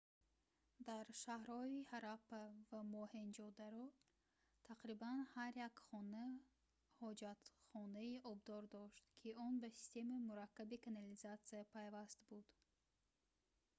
дар шаҳрҳои ҳараппа ва моҳенҷодаро тақрибан ҳар як хона ҳоҷатхонаи обдор дошт ки он ба системаи мураккаби канализатсия пайваст буд